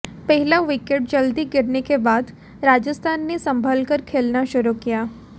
पहला विकेट जल्दी गिरने के बाद राजस्थान ने संभलकर खेलना शुरू किया